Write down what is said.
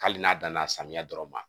Hali n'a danna samiya dɔrɔn ma